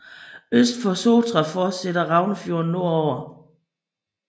Øst for Sotra fortsætter Raunefjorden nordover